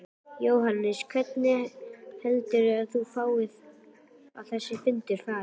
Jóhannes: Hvernig heldur þú að þessi fundur fari?